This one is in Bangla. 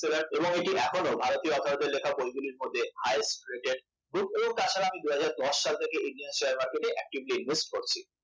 এবং এটি এখনো ভারতীয় author দের লেখা বইগুলি মধ্যে highest rated book ও তাছাড়া আমি দুই হাজার দশ সাল থেকে indian share market এ actively invest করছি